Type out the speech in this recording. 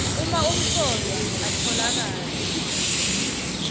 uma umsolwa atfolakala